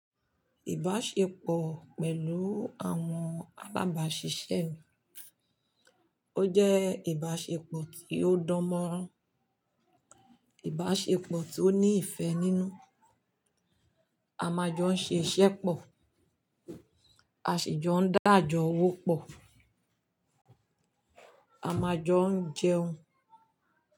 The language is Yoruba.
Ìbáṣepọ̀ pẹ̀lú àwọn alábàáṣiṣẹ́, ó jẹ́ ìbáṣepọ̀ tí ó dánmọ́rán, ìbáṣepọ̀ tí ó ní ìfẹ́ nínú, àmajọ ń ṣe iṣẹ́ pọ̀, àṣi jọ ń dáàjọ́ owó pọ̀, àmajọ ń jẹun.